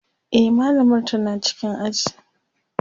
e mallamar tana cikin aji